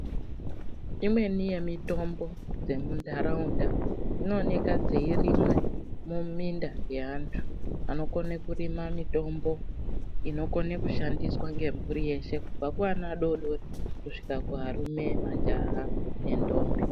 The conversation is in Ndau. Imweni yemitimbo yemuntaraunda, dzinooneka dzeirimwa mumunda yeantu anokona kurima mitombo inokone kushandiswe ngemhuri yeshe, kubva kuana adodori kusvika kuarume, majaha nendombi.